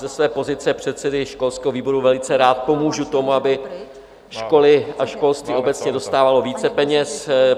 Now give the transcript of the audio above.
Ze své pozice předsedy školského výboru velice rád pomůžu tomu, aby školy a školství obecně dostávaly více peněz.